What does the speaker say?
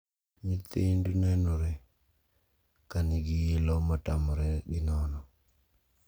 Nyithind nenore ka nigi ilo matamre gi nono.